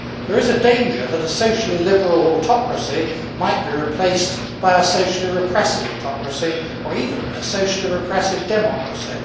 There is a danger that a socially liberal autocracy might be replaced by a socially repressive autocracy or even a socially repressive democracy.